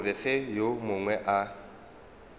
gore ge yo mongwe a